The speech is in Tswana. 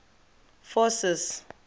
forces